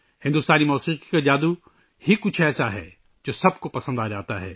بھارتی موسیقی کا جادو کچھ ایسا ہے ، جو سب کو مسحور کر دیتا ہے